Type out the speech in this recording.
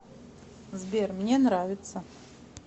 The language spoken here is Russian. сбер мне нравится